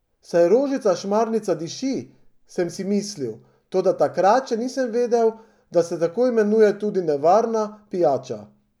Saj rožica šmarnica diši, sem si mislil, toda takrat še nisem vedel, da se tako imenuje tudi nevarna pijača.